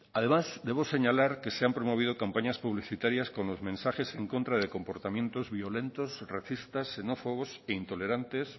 además debo señalar que se han promovido campañas publicitarias con los mensajes en contra de comportamientos violentos racistas xenófobos e intolerantes